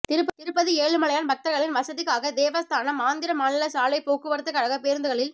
திருப்பதி ஏழுமலையான் பக்தா்களின் வசதிக்காக தேவஸ்தானம் ஆந்திர மாநில சாலைப் போக்குவரத்துக்கழகப் பேருந்துகளில்